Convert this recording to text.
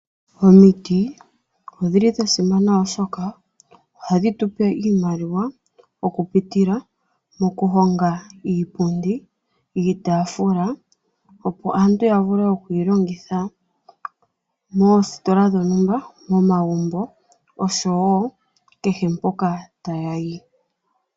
Omiti odhili dha simana oshoka ohadhi tu pe iimaliwa okupitila mokuhonga iipundi, iitaafula opo aantu ya vule oku yi longitha moositola dhontumba, momagumbo oshowo kehe mpoka tayayi.